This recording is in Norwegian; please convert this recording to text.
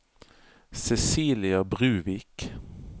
Cecilia Bruvik